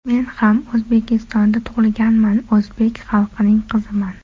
Men ham O‘zbekistonda tug‘ilganman, o‘zbek xalqining qiziman.